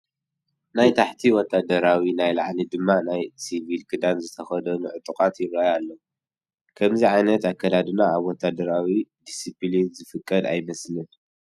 ናይ ታሕቲ ወታደራዊ ናይ ላዕሊ ድማ ናይ ሲቪል ክዳን ዝተኸደኑ ዕጡቓት ይርአዩ ኣለዉ፡፡ ከምዚ ዓይነት ኣከዳድና ኣብ ወታደራዊ ዲስፒሊን ዝፍቀድ ኣይመስለንን፡፡